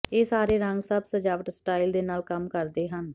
ਇਹ ਸਾਰੇ ਰੰਗ ਸਭ ਸਜਾਵਟ ਸਟਾਈਲ ਦੇ ਨਾਲ ਕੰਮ ਕਰਦੇ ਹਨ